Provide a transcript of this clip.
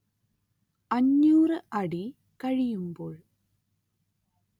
അഞ്ഞൂര്‍ അടി കഴിയുമ്പോൾ